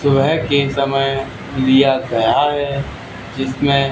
सुबह के समय लिया गया है जिसमें--